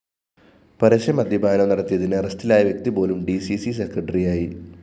പരസ്യ മദ്യപാനം നടത്തിയതിന് അറസ്റ്റിലായ വ്യക്തിപോലും ഡി സി സി സെക്രട്ടറിയായി